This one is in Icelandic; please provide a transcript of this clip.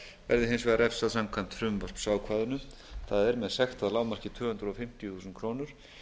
verði hins vegar refsað samkvæmt frumvarpsákvæðinu það er með sekt að lágmarki tvö hundruð fimmtíu þúsund krónur